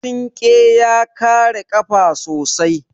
Sinƙe ya kare ƙafa sosai.